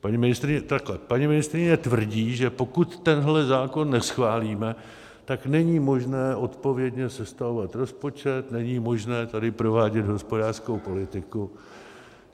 Paní ministryně tvrdí, že pokud tenhle zákon neschválíme, tak není možné odpovědně sestavovat rozpočet, není možné tady provádět hospodářskou politiku.